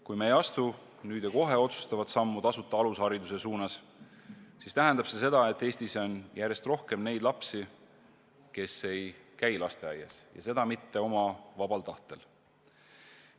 Kui me ei astu nüüd ja kohe otsustavat sammu tasuta alushariduse suunas, siis tähendab see seda, et Eestis on järjest rohkem neid lapsi, kes ei käi lasteaias, ja seda mitte vanemate vabal tahtel.